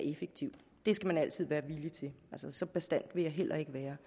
effektivt det skal man altid være villig til så bastant vil jeg heller ikke være